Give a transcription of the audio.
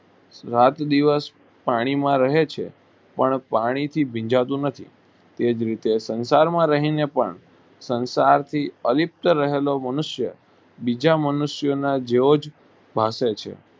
રાત દિવસ પાણી માં રહે છે પણ પાણી થી ભીજાતું નથી તે જ રીતે સંસાર માં રહી ને પણ સંસાર થી અલિપ્ત રહેલો મનુષ્યો બીજા મનુષ્યો ના જેવો જ ભાસે છે.